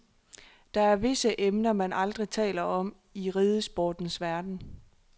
Der er visse emner, man aldrig taler om i ridesportens verden.